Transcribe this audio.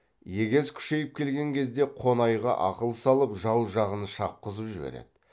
егес күшейіп келген кезде қонайға ақыл салып жау жағын шапқызып жібереді